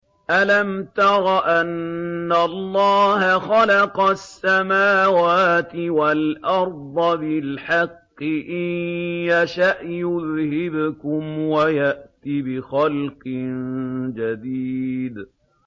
أَلَمْ تَرَ أَنَّ اللَّهَ خَلَقَ السَّمَاوَاتِ وَالْأَرْضَ بِالْحَقِّ ۚ إِن يَشَأْ يُذْهِبْكُمْ وَيَأْتِ بِخَلْقٍ جَدِيدٍ